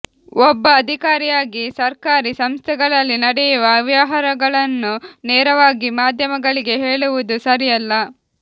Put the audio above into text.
ಒಬ್ಬ ಅಧಿಕಾರಿಯಾಗಿ ಸರ್ಕಾರೀ ಸಂಸ್ಥೆಗಳಲ್ಲಿ ನಡೆಯುವ ಅವ್ಯವಹಾರಗಳನ್ನು ನೇರವಾಗಿ ಮಾಧ್ಯಮಗಳಿಗೆ ಹೇಳುವುದು ಸರಿಯಲ್ಲ